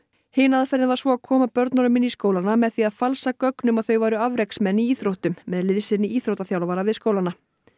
hin aðferðin var svo að koma börnunum inn í skólana með því að falsa gögn um að þau væru afreksmenn í íþróttum með liðsinni íþróttaþjálfara við skólana